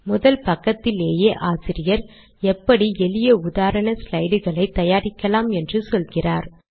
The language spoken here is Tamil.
முதல் பக்கத்திலேயே ஆசிரியர் எப்படி எளிய உதாரண ஸ்லைடுகளை தயாரிக்கலாம் என்று சொல்கிறார்